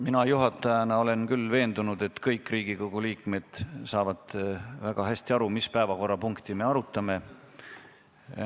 Mina juhatajana olen küll veendunud, et kõik Riigikogu liikmed saavad väga hästi aru, mis päevakorrapunkti me arutame.